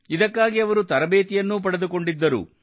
ಇದಕ್ಕಾಗಿ ಅವರು ತರಬೇತಿಯನ್ನೂ ಪಡೆದುಕೊಂಡಿದ್ದರು